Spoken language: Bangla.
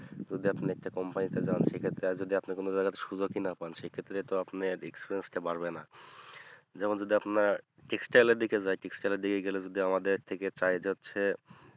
যদি আপনি একটা company তে অপিনি যান সেক্ষেত্রে আহ যদি আপনি কোনো জায়গাতে সুযোগই না পান সেক্ষেত্রে তো আপনার experience টা বাড়বে না যেমন যদি আপনার text style এর দিকে যাই text style এর দিকে গেলে যদি আমাদের থেকে চাই যাচ্ছে